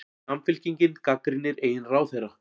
Samfylkingin gagnrýnir eigin ráðherra